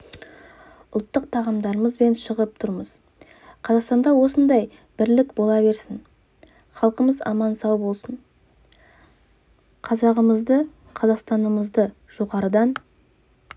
ұлттық тағамдарымызбен шығып тұрмыз қазақстанда осындай бірлік бола берсін халқымыз аман-сау болсын қазағымызды қазақстанымызды жоғарыдан